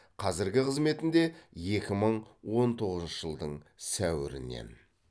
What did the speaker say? қазіргі қызметінде екі мың он тоғызыншы жылдың сәуірінен